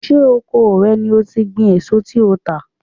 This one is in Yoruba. Ṣé oko rẹ ni ó ti gbin èso tí ò ń tà?